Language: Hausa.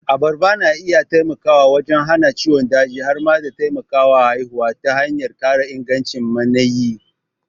Abarba na iya taimakawa wajen hana ciwon daji har ma da taimakawa haihuwa ta hanyar ƙara ingancin maniyyi.